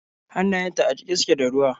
Hannayenta a jike suke da ruwa.